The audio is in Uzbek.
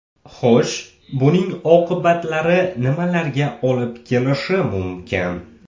Xo‘sh, buning oqibatlari nimalarga olib kelishi mumkin?